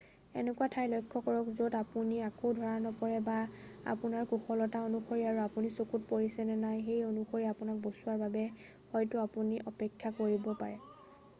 এনেকুৱা ঠাই লক্ষ্য কৰক য'ত আপুনি আকৌ ধৰা নপৰে বা আপোনাৰ কুশলতা অনুসৰি আৰু আপুনি চকুত পৰিছে নে নাই সেই অনুসৰি আপোনাক বচোৱাৰ বাবে হয়তো আপুনি অপেক্ষা কৰিব পাৰে